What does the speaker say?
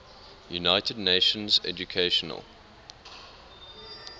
united nations educational